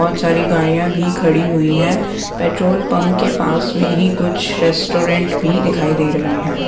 बहुत सारी गाड़ियाँ भी खड़ी हुई हैं पेट्रोल पंप के पास में ही कुछ रेस्टोरेंट भी दिखाई दे रहे हैं।